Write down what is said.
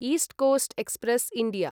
east coast express India